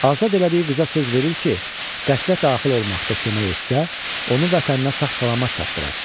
Azad elədiyi qıza söz verir ki, qəsrə daxil olmaqda kömək etsə, onu vətəninə sağ-salamat çatdırar.